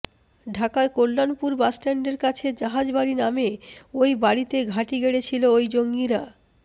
ঢাকার কল্যাণপুর বাসস্ট্যান্ডের কাছে জাহাজবাড়ি নামে ওই বাড়িতে ঘাঁটি গেড়েছিল ওই জঙ্গিরা